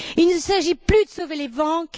Il ne s'agit plus de sauver les banques.